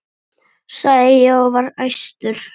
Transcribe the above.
sagði ég og var æstur.